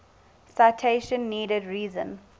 citation needed reason